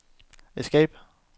escape